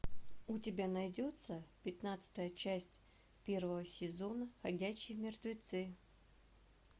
у тебя найдется пятнадцатая часть первого сезона ходячие мертвецы